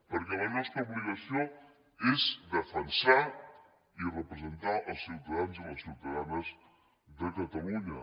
perquè la nostra obligació és defensar i representar els ciutadans i les ciutadanes de catalunya